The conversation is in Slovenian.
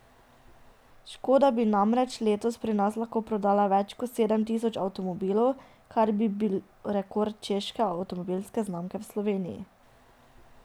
Škoda bi namreč letos pri nas lahko prodala več kot sedem tisoč avtomobilov, kar bi bil rekord češke avtomobilske znamke v Sloveniji.